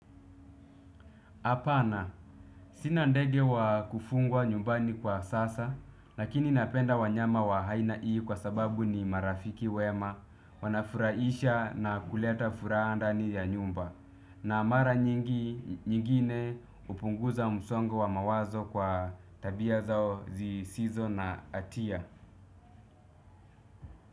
Hapana sina ndege wa kufungwa nyumbani kwa sasa. Lakini napenda wanyama wa haina ii kwa sababu ni marafiki wema. Wanafuraisha na kuleta furaha ndani ya nyumba. Na mara nyingine hupunguza msongo wa mawazo kwa tabia zao zisizo na atia.